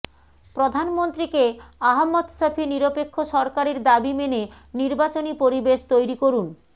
প্রধানমন্ত্রীকে আহমদ শফী নিরপেক্ষ সরকারের দাবি মেনে নির্বাচনী পরিবেশ তৈরি করুন